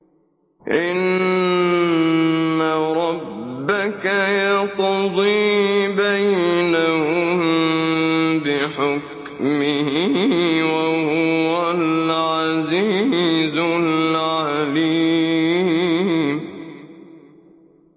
إِنَّ رَبَّكَ يَقْضِي بَيْنَهُم بِحُكْمِهِ ۚ وَهُوَ الْعَزِيزُ الْعَلِيمُ